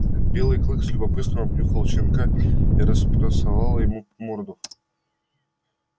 белый клык с любопытством обнюхал щенка и располосовал ему морду